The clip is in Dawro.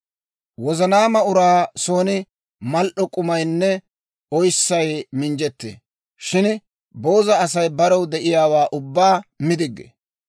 Wozanaama uraa son mal"o k'umaynne oyssay minjjettee; shin booza Asay barew de'iyaawaa ubbaa mi diggee.